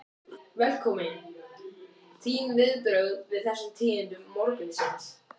Velkominn, þín viðbrögð við þessum tíðindum morgunsins?